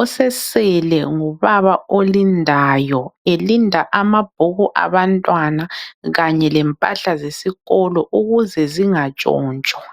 Osesele ngubaba olindayo elinda amabhuku abantwana kanye lempahla zesikolo ukuze zingatshontshwa.